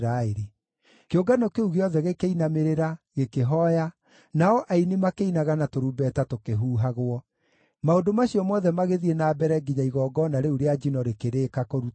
Kĩũngano kĩu gĩothe gĩkĩinamĩrĩra, gĩkĩhooya, nao aini makĩinaga na tũrumbeta tũkĩhuhagwo. Maũndũ macio mothe magĩthiĩ na mbere nginya igongona rĩu rĩa njino rĩkĩrĩka kũrutwo.